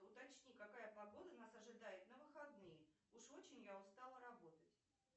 уточни какая погода нас ожидает на выходные уж очень я устала работать